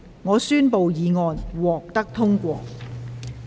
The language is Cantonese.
我宣布議案獲得通過。